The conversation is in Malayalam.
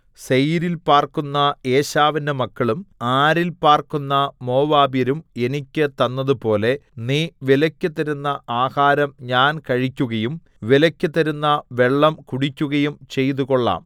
സേയീരിൽ പാർക്കുന്ന ഏശാവിന്റെ മക്കളും ആരിൽ പാർക്കുന്ന മോവാബ്യരും എനിക്ക് തന്നതുപോലെ നീ വിലയ്ക്ക് തരുന്ന ആഹാരം ഞാൻ കഴിക്കുകയും വിലയ്ക്ക് തരുന്ന വെള്ളം കുടിക്കുകയും ചെയ്തുകൊള്ളാം